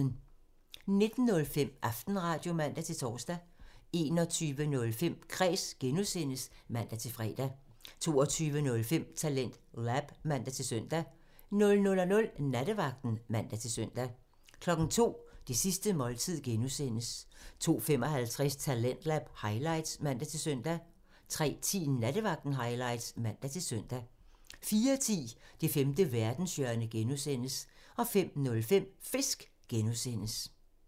19:05: Aftenradio (man-tor) 21:05: Kræs (G) (man-fre) 22:05: TalentLab (man-søn) 00:00: Nattevagten (man-søn) 02:00: Det sidste måltid (G) (man) 02:55: Talentlab highlights (man-søn) 03:10: Nattevagten highlights (man-søn) 04:10: Det femte verdenshjørne (G) (man) 05:05: Fisk (G) (man)